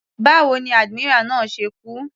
Báwo ni admiral náà ṣe kú.